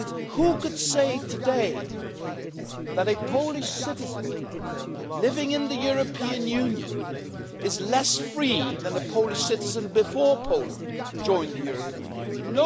Who could say today that a Polish citizen living in the European Union is less free than a Polish citizen before Poland joined the European Union?